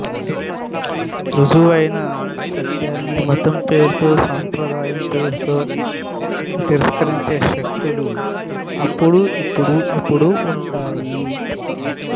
రుజువైన సత్యాన్ని మతం పేరుతో సంప్రదాయం పేరుతో తిరస్కరించే శక్తులు అప్పుడు ఇప్పుడు ఎప్పుడూ ఉంటాయి